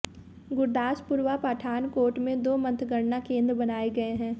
गुरदासपुर व पठानकोट में दो मतगणना केंद्र बनाए गए हैं